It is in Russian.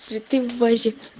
цветы в вазе